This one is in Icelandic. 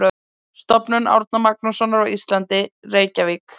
Stofnun Árna Magnússonar á Íslandi, Reykjavík.